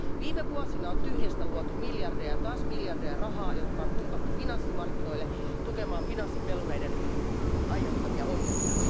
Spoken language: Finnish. Viime vuosina on tyhjästä luotu miljardeja ja taas miljardeja rahaa, jotka on pumpattu finanssimarkkinoille tukemaan finanssipelureiden aiheuttamia ongelmia.